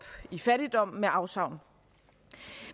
i fattigdom med afsavn